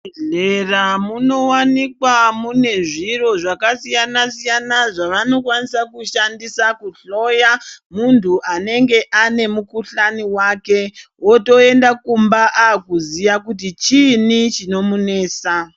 Muzvibhedhlera munowanikwa mune zviro zvakasiyana-siyana zvavanokwanisa kushandisa kuhloya muntu anenga ane mukuhlani wake. Otoenda kumba akuziya kuti chiini chinomunesa.